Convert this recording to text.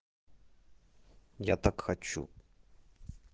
я так хочу